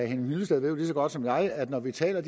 hyllested ved jo lige så godt som jeg at når vi taler